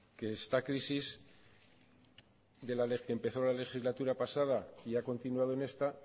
que esta crisis que empezó la legislatura pasada y ha continuado en esta